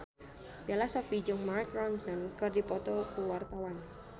Bella Shofie jeung Mark Ronson keur dipoto ku wartawan